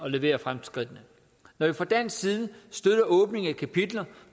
at levere fremskridtene når vi fra dansk side støtter åbningen af kapitler